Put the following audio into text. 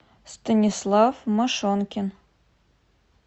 станислав машонкин